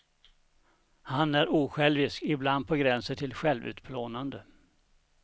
Han är osjälvisk, ibland på gränsen till självutplånande.